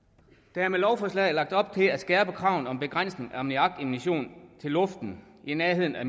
der er med lovforslaget lagt op til at skærpe kravene om begrænsning af ammoniakemission til luften i nærheden af